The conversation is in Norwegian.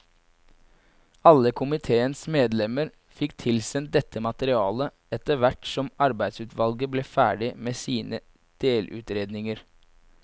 Alle komiteens medlemmer fikk tilsendt dette materialet etterhvert som arbeidsutvalget ble ferdig med sine delutredninger.